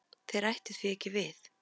Þær ættu því ekki við.